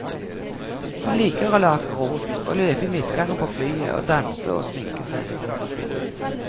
Hun liker å lage rot, å løpe i midtgangen på flyet, å danse og å sminke seg.